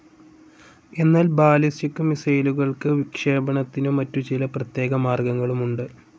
എന്നാൽ ബാലിസ്റ്റിക്‌ മിസ്സൈലുകൾക്ക് വിക്ഷേപണത്തിനു മറ്റു ചില പ്രത്യേക മാർഗങ്ങളുമുണ്ട്.